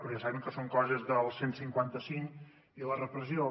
però ja sabem que són coses del cent i cinquanta cinc i la repressió